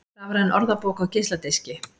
Rafræn orðabók á geisladiski